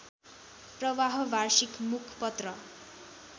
प्रवाह वार्षिक मुखपत्र